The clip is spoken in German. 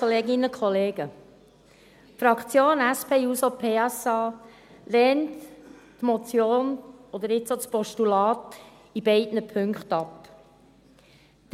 Die Fraktion SP-JUSO-PSA lehnt die Motion, oder jetzt auch das Postulat, in beiden Punkten ab.